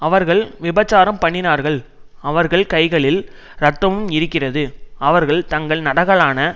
அவர்கள் விபசாரம் பண்ணினார்கள் அவர்கள் கைகளில் இரத்தமும் இருக்கிறது அவர்கள் தங்கள் நரகலான